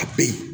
A be yen